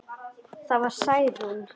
Það var Særún.